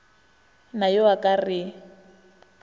na yo a ka re